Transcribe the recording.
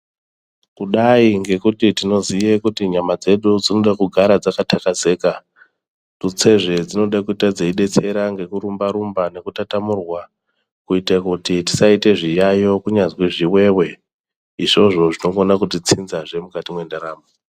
Kudai ngekuti tinoziye kuti nyama dzedu dzinode kugara dzaka takazeka tutsezve dzinode kuite dzeibetsera ngekurumba rumba nekutatamurwa kuite kuti tisaite zviyayo kunyazwe zviwewe izvozvo zvinokona kutitsinzazve mukati mendaramo.